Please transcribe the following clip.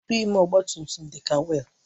Rịịm ọgba tum tum dị ka wiil